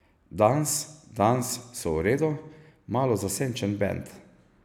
Dans Dans so v redu, malo zasenčen bend.